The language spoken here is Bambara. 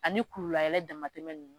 Ani kululayɛlɛn damatɛmɛ ninnu